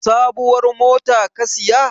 Sabuwar mota ka siya?